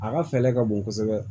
A ka fɛɛrɛ ka bon kosɛbɛ